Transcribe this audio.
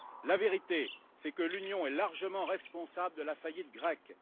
La vérité, c'est que l'Union est largement responsable de la faillite grecque.